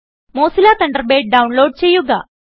Mozilla Thunderbird download ചെയ്യുക